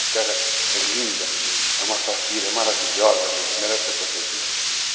A terra é linda, é uma safira, é maravilhosa, merece ser protegida.